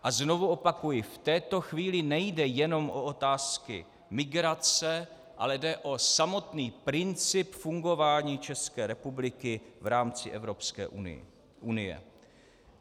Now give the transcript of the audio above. A znovu opakuji, v této chvíli nejde jenom o otázky migrace, ale jde o samotný princip fungování České republiky v rámci Evropské unie.